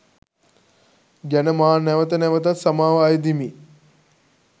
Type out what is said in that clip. ගැන මා නැවත නැවතත් සමාව අයදිමි.